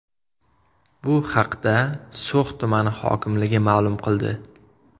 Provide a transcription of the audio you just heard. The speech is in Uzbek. Bu haqda So‘x tumani hokimligi ma’lum qildi .